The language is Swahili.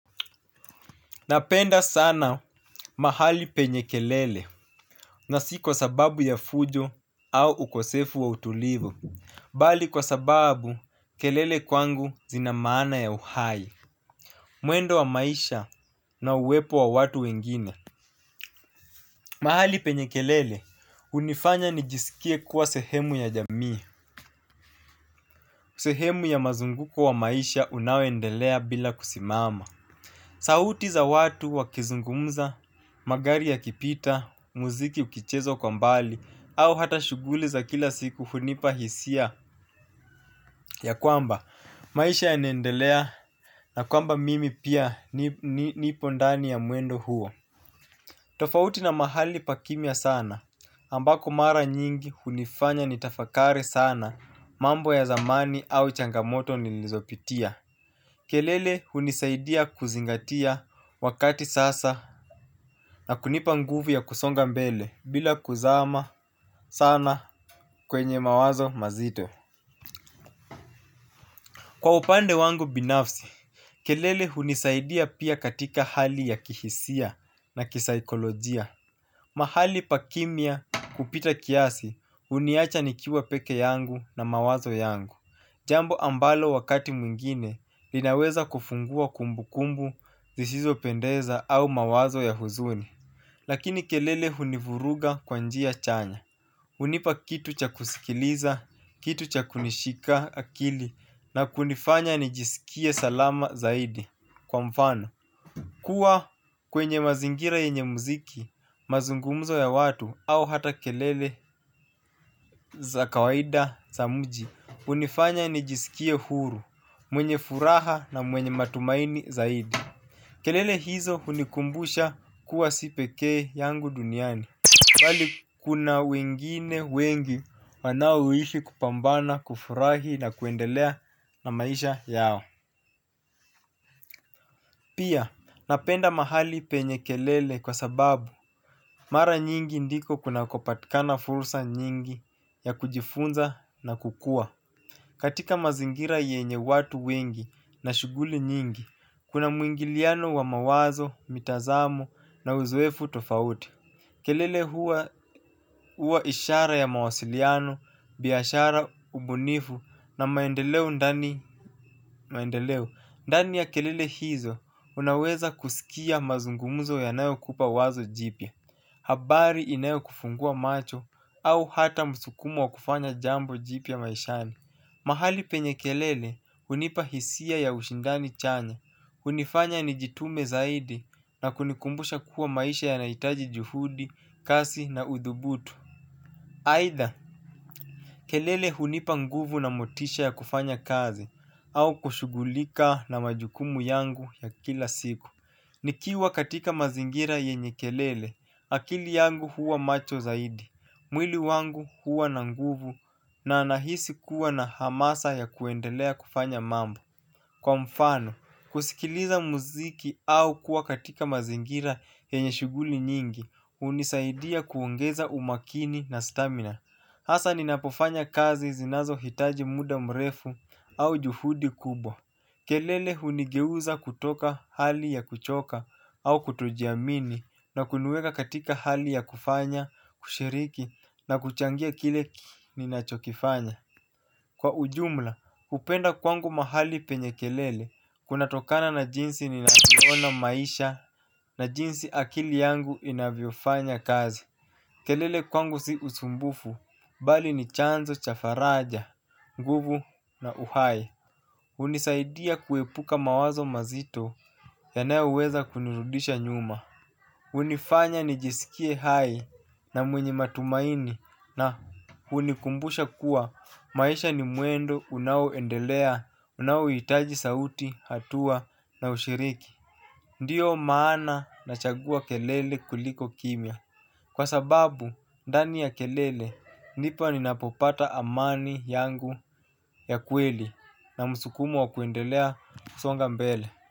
Napenda sana mahali penye kelele na si kwa sababu ya fujo au ukosefu wa utulivu, bali kwa sababu kelele kwangu zina maana ya uhai, mwendo wa maisha na uwepo wa watu wengine. Mahali penye kelele hnifanya nijisikie kuwa sehemu ya jamii, sehemu ya mazunguko wa maisha unaoendelea bila kusimama. Sauti za watu wakizungumza magari yakipita muziki yakichezwa kwa umbali au ata shughuli za kila siku hunipa hisia ya kwamba maisha yanaendelea na kwamba mimi pia nipo ndani mwa mwendo huo tofauti na mahali pa kimya sana ambako mara nyingi hunifanya nitafakari sana mambo ya zamani au changamoto zikizokapitia. Kelele hunisaidia kuzingatia wakati sasa na kunipa nguvu ya kusonga mbele bila kuzama sana kwenye mawazo mazito. Kwa upande wangu binafsi, kelele hunisaidia pia katika hali ya kihisia na kisikolojia. Mahali pakimia kupita kiasi huniacha nikiwa peke yangu na mawazo yangu. Jambo ambalo wakati mwingine linaweza kufungua kumbu kumbu zisizo pendeza au mawazo ya huzuni lakini kelele hunivuruga kwa njia chanya. Hunipa kitu cha kusikiliza, kitu cha kunishika akili na kunifanya nijisikie salama zaidi kwa mfano kuwa kwenye mazingira yenye muziki, mazungumzo ya watu au hata kelele za kawaida za mji hunifanya nijisikie huru, mwenye furaha na mwenye matumaini zaidi. Kelele hizo hunikumbusha kuwa si pekee yangu duniani. Bali kuna wengine wengi wanaoishi kupambana, kufurahi na kuendelea na maisha yao. Pia, napenda mahali penye kelele kwa sababu mara nyingi ndiko kuna kupatikana fursa nyingi ya kujifunza na kukua. Katika mazingira yenye watu wengi na shughuli nyingi, kuna mwingiliano wa mawazo, mitazamu na uzoefu tofauti. Kelele huwa ishara ya mawasiliano, biashara, ubunifu na maendeleo ndani ya kelele hizo unaweza kusikia mazungumuzo yanayo kupa wazo jipya. Habari inayo kufungua macho au hata msukumu wa kufanya jambo jipya maishani. Mahali penye kelele hunipa hisia ya ushindani chanya, hunifanya nijtume zaidi na kunikumbusha kuwa maisha yanahitaji juhudi, kasi na udhubutu. Aidha, kelele hunipa nguvu na motisha ya kufanya kazi au kushugulika na majukumu yangu ya kila siku. Nikiwa katika mazingira yenye kelele, akili yangu huwa macho zaidi. Mwili wangu huwa na nguvu na nahisi kuwa na hamasa ya kuendelea kufanya mambo. Kwa mfano, kusikiliza muziki au kuwa katika mazingira yenye shughuli nyingi hunisaidia kuongeza umakini na stamina. Hasa ninapofanya kazi zinazo hitaji muda mrefu au juhudi kubwa. Kelele hunigeuza kutoka hali ya kuchoka au kutojiamini na kuniweka katika hali ya kufanya kushiriki na kuchangia kile ninachokifanya. Kwa ujumla, upenda kwangu mahali penye kelele. Kunatokana na jinsi ninavyoona maisha na jinsi akili yangu inavyofanya kazi. Kelele kwangu si usumbufu, bali ni chanzo, cha faraja, nguvu na uhai. Hunisaidia kuepuka mawazo mazito yanayoweza kunirudisha nyuma. Hunifanya nijisikie hai na mwenye matumaini na hunikumbusha kuwa maisha ni mwendo unaoendelea unaohitaji sauti hatua na ushiriki. Ndio maana nachagua kelele kuliko kimya. Kwa sababu, ndani ya kelele ndipo ninapopata amani yangu ya kweli na msukumo wa kuendelea usonga mbele.